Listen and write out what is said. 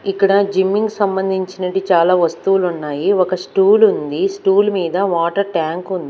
ఇక్కడ జిమ్మింగ్ కి సంబంధించినటి చాలా వస్తువులున్నాయి ఒక స్టూల్ ఉంది స్టూల్ మీద వాటర్ ట్యాంక్ ఉం--